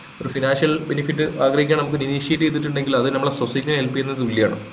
ഒരു financial benefit ആഗ്രഹിക്കാതെ നമ്മുക്ക് initiative ചെയ്തിട്ടന്ടെങ്ങിൽ അതൊരു നമ്മളെ society നെ help ചെയ്യുന്നതിന് തുല്യണ്